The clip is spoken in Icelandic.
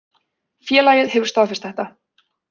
Félagið hefur staðfest þetta.